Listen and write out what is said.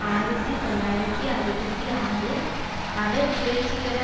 ஆயிரத்தி தொள்ளாயிரத்தி அறுபத்தி ஆறு அவர் புரட்சிகர